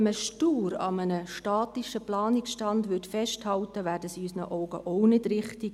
Wenn man stur an einem statischen Planungsstand festhielte, wäre das in unseren Augen auch nicht richtig.